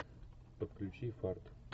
подключи фарт